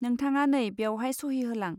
नोंथाङा नै बेयावहाय सहि होलां.